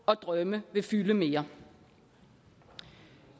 og drømme vil fylde mere